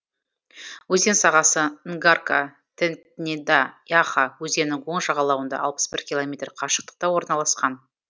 өзен сағасы нгарка тетнеда яха өзенінің оң жағалауында алпыс бір километр қашықтықта орналасқан